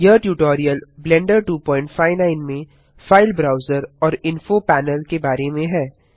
यह tutorial Blender 259 में file browser और इन्फो पैनल के बारे में है